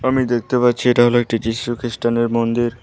আমি দেখতে পাচ্ছি এটা হল একটি যীশু খ্রিস্টানের মন্দির।